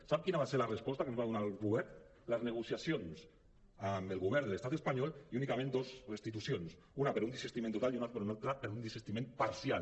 sap quina va ser la resposta que ens va donar el govern les negociacions amb el govern de l’estat espanyol i únicament dos restitucions una per un desistiment total i una altra per un desistiment parcial